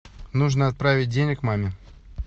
нужно отправить денег маме